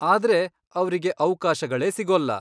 ಆದ್ರೆ ಅವ್ರಿಗೆ ಅವ್ಕಾಶಗಳೇ ಸಿಗೋಲ್ಲ.